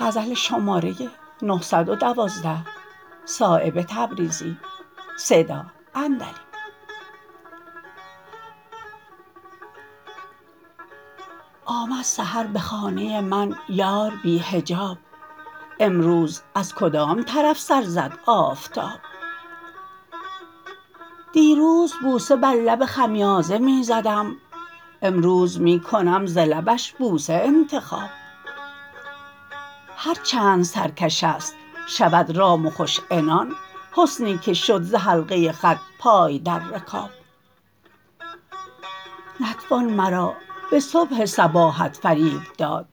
آمد سحر به خانه من یار بی حجاب امروز از کدام طرف سر زد آفتاب دیروز بوسه بر لب خمیازه می زدم امروز می کنم ز لبش بوسه انتخاب هر چند سرکش است شود رام و خوش عنان حسنی که شد ز حلقه خط پای در رکاب نتوان مرا به صبح صباحت فریب داد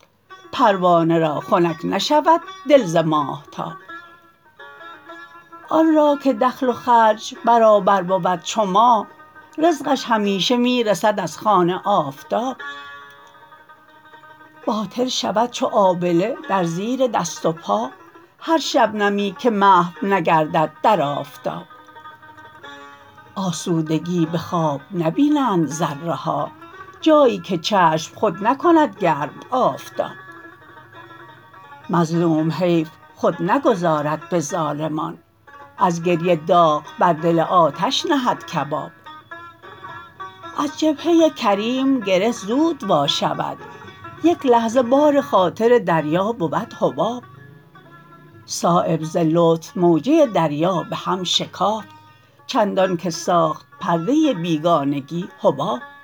پروانه را خنک نشود دل ز ماهتاب آن را که دخل و خرج برابر بود چو ماه رزقش همیشه می رسد از خوان آفتاب باطل شود چو آبله در زیر دست و پا هر شبنمی که محو نگردد در آفتاب آسودگی به خواب نبینند ذره ها جایی که چشم خود نکند گرم آفتاب مظلوم حیف خود نگذارد به ظالمان از گریه داغ بر دل آتش نهد کباب از جبهه کریم گره زود وا شود یک لحظه بار خاطر دریا بود حباب صایب ز لطف موجه دریا به هم شکافت چندان که ساخت پرده بیگانگی حباب